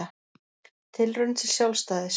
Tilraun til sjálfstæðis